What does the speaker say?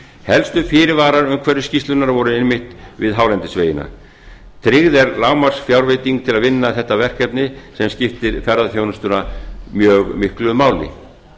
helstu fyrirvarar umhverfisskýrslunnar voru einmitt við hálendisvegina tryggð er lágmarksfjárveiting til að vinna þetta verkefni sem skiptir ferðaþjónustuna mjög miklu máli